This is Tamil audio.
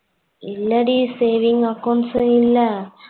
இல்ல டி saving accounts இல்ல